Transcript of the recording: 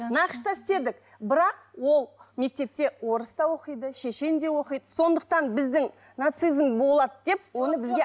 нақышта істедік бірақ ол мектепте орыс та оқиды шешен де оқиды сондықтан біздің нацизм болады деп оны бізге